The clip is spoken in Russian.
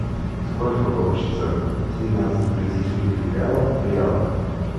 сколько получится двенадцать бразильских реалов в реалах